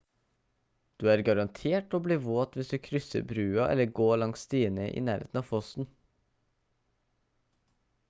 du er garantert å bli våt hvis du krysser brua eller går langs stiene i nærheten av fossen